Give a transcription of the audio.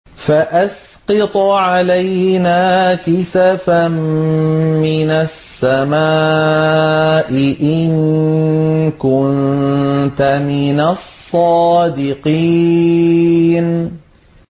فَأَسْقِطْ عَلَيْنَا كِسَفًا مِّنَ السَّمَاءِ إِن كُنتَ مِنَ الصَّادِقِينَ